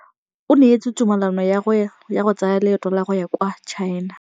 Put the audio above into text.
O neetswe tumalanô ya go tsaya loetô la go ya kwa China.